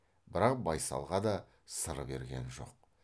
бірақ байсалға да сыр берген жоқ